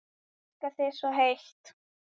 Elska þig svo heitt.